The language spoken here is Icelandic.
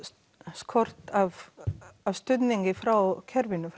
skort frá kerfinu